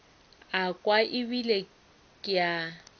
a kwa ebile ke a